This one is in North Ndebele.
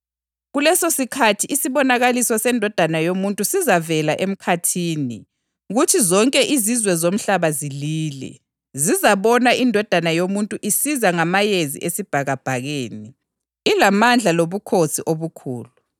Kulesosikhathi isibonakaliso seNdodana yoMuntu sizavela emkhathini, kuthi zonke izizwe zomhlaba zilile. Zizabona iNdodana yoMuntu isiza ngamayezi esibhakabhakeni, ilamandla lobukhosi obukhulu.